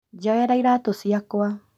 Njoera iratũ ciakwa